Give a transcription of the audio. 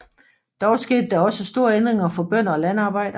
Dog skete der også store ændringer for bønder og landarbejdere